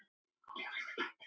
Ég verð að halda áfram.